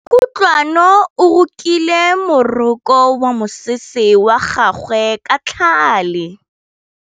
Kutlwanô o rokile morokô wa mosese wa gagwe ka tlhale.